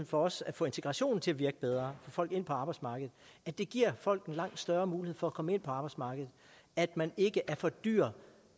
for også at få integrationen til at virke bedre og folk ind på arbejdsmarkedet at det giver folk en langt større mulighed for at komme ind på arbejdsmarkedet at man ikke er for dyr